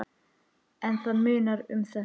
En það munar um þetta.